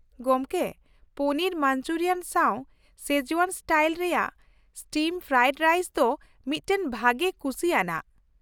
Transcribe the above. ᱜᱚᱝᱠᱮ, ᱯᱚᱱᱤᱨ ᱢᱟᱧᱡᱩᱨᱤᱭᱟᱱ ᱥᱟᱶ Szechuan style ᱨᱮᱭᱟᱜ ᱥᱴᱤᱨᱼᱯᱷᱨᱟᱭᱤᱰ ᱨᱟᱭᱤᱥ ᱫᱚ ᱢᱤᱫᱴᱟᱝ ᱵᱷᱟᱹᱜᱤ ᱠᱩᱥᱤᱭᱟᱱᱟᱜ ᱾